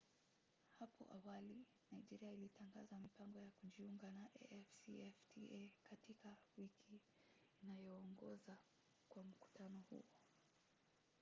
hapo awali nigeria ilitangaza mipango ya kujiunga na afcfta katika wiki inayoongoza kwa mkutano huo